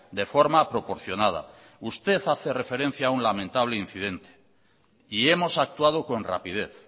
de forma proporcionada usted hace referencia a un lamentable incidente y hemos actuado con rapidez